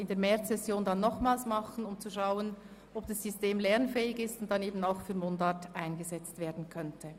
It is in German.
In der Märzsession werden wir es nochmals tun, um zu schauen, ob das System lernfähig ist, sodass es dann auch für Mundart eingesetzt werden könnte.